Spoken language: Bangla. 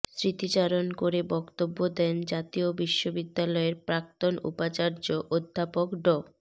স্মৃতিচারণ করে বক্তব্য দেন জাতীয় বিশ্ববিদ্যালয়ের প্রাক্তন উপাচার্য অধ্যাপক ড